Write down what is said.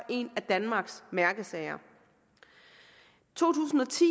en af danmarks mærkesager to tusind og ti